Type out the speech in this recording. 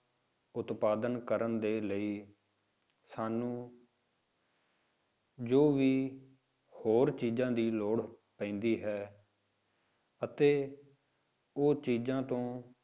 ਉਤਪਾਦਨ ਕਰਨ ਦੇ ਲਈ ਸਾਨੂੰ ਜੋ ਵੀ ਹੋਰ ਚੀਜ਼ਾਂ ਦੀ ਲੋੜ ਪੈਂਦੀ ਹੈ ਅਤੇ ਉਹ ਚੀਜ਼ਾਂ ਤੋਂ